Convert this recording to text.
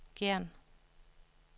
Gjern